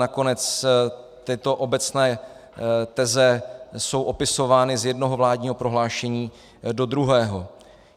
Nakonec tyto obecné teze jsou opisovány z jednoho vládního prohlášení do druhého.